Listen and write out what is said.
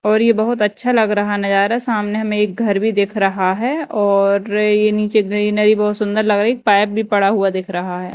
और ये बहुत अच्छा लग रहा है नज़ारा सामने हमें एक घर भी देख रहा है और ये नीचे ग्रीनरी बहुत सुंदर लग रही पाइप भी पड़ा हुआ दिख रहा है।